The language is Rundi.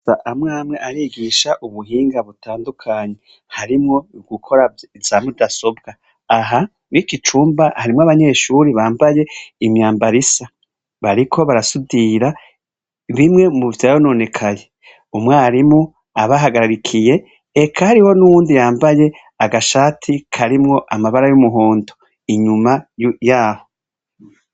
Amwe amwe arigisha ubuhinga butandukanye, harimwo ugukora vyabidasobwa, aha muri iki cumba harimwo abanyeshuri bambaye imyambaro isa, bariko barasudira bimwe muvyononekaye, umwarimu abahagarikiye eka hari n'uwundi yambaye agashati karimwo amabara y'umuhondo inyuma yaho.